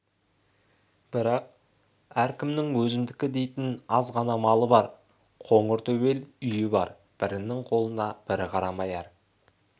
бірақ әркімнің өзімдікі дейтін азғана малы бар қоңыр төбел үйі бар бірінің қолына бірі қарамай әр